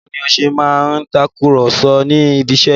Báwo ni ó ṣe máa ń takùrọ̀sọ ní ibiṣẹ́?